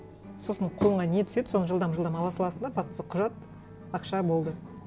сосын қолыңа не түседі соны жылдам жылдам ала саласың да бастысы құжат ақша болды